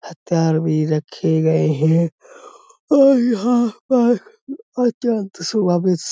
हथियार भी रखे गए हैं और यहाँ पर अत्यंत सुबह भी --